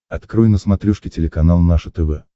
открой на смотрешке телеканал наше тв